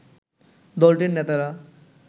দলটির নেতারা